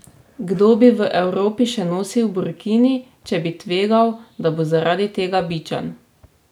Kdo bi v Evropi še nosil burkini, če bi tvegal, da bo zaradi tega bičan?